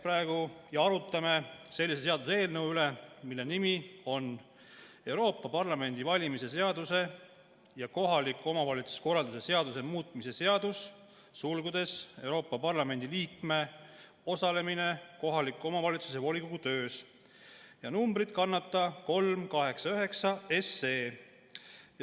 Me arutame sellise seaduseelnõu üle, mille nimi on Euroopa Parlamendi valimise seaduse ja kohaliku omavalitsuse korralduse seaduse muutmise seadus , ja see kannab numbrit 389.